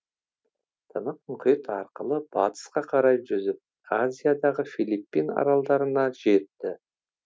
тынық мұхит арқылы батысқа қарай жүзіп азиядағы филиппин аралдарына жетті